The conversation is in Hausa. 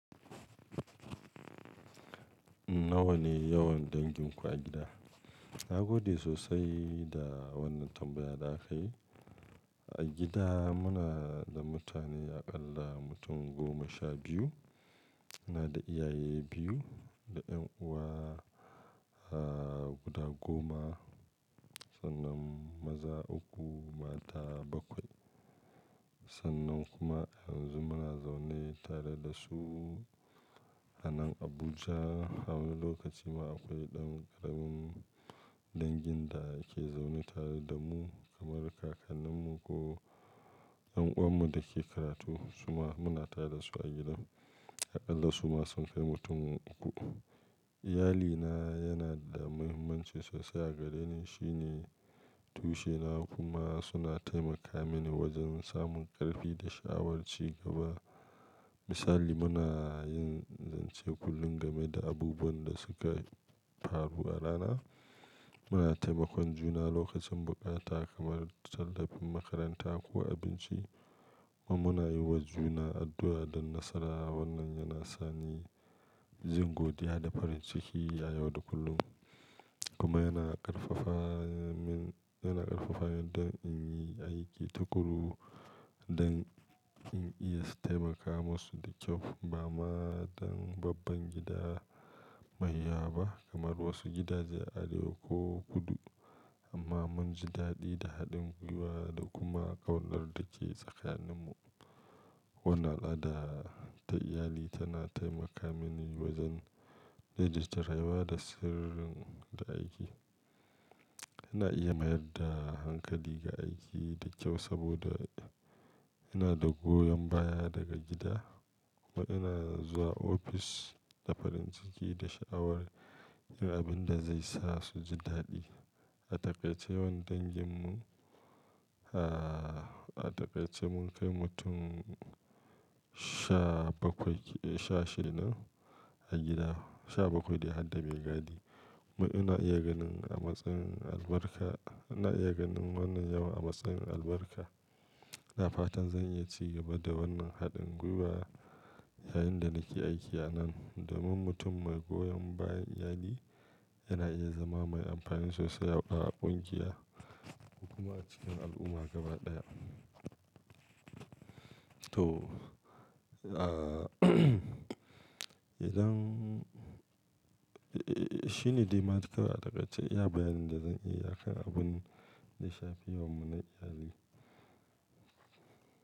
Nawa ne yawan danginku a gida? Na gode sosai da wannan tambaya da aka yi. A gida muna da mutane aƙalla mutum goma sha biyu. Muna da iyaye biyu da 'yan'uwa, ah, guda goma, sannan maza uku, mata bakwai. Sannan kuma yanzu muna zaune tare da su a nan Abuja. A wani lokaci ma akwai ɗan ƙaramin dangin da ke zaune tare da mu kamar kakanninmu ko ƴan'uwanmu da ke karatu. Kuma muna tare da su a gidan. Aƙalla su ma sun kai mutum uku. Iyali na yana da muhimmanci sosai a gare ni. Shi ne tushena kuma suna taimaka mini wajen samun ƙarfi da shawarci gaba. Misali, muna yin zance kullum game da abubuwan da suka faru a rana. Muna taimakon juna lokacin buƙata kamar tallafin makaranta ko abinci kuma muna yi wa juna addu'a don nasara. Wannan yana sani jin godiya da farin ciki a yau da kullum. Kuma yana ƙarfafa min, yana ƙarfafa yardar in yi aiki tukuru don in iya taimaka musu da kyau. Ba ma dan babban gida man yaba kamar wasu gidaje a arewa ko kudu amma mun ji daɗi da haɗin gwiwa da kuma ƙaunar da ke tsakaninmu. Wannan al'ada ta iyali tana taimaka mini wajen daidaita rayuwa da sirrin da aiki. Ina iya mayar da hankali ga aiki da kyau saboda ina da goyon baya daga gida kuma ina zuwa ofis da farin ciki da sha'awar yin abin da zai sa su ji daɗi. A takaice yawan dangin mu, ah, a takaice mun kai mutum sha bakwai, eh, sha shida a gida, sha bakwai dai hadda maigadi. Ma ina iya ganin a matsin albarka, ina iya ganin wannan yawan a matsayin albarka. iNa fatan zan iya ci gaba da wannan haɗin gwiwa yayin da nake aiki a nan domin mutum mai goyon bayan iyali yana iya zama mai amfani sosai a ƙungiya kuma a cikin al'umma gaba ɗaya. To, ah, idan, eh, eh, shine dai ma dai kawai takaice iya bayanin da zan yi akan abin da yashi fi yawanmu na iyali.